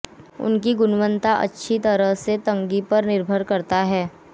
उनकी गुणवत्ता अच्छी तरह से की तंगी पर निर्भर करता है